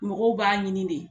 Mɔgɔw b'a ɲini de